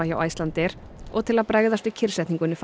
hjá Icelandair og til að bregðast við kyrrsetningunni